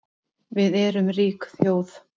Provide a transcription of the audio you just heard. Við erum rík þjóð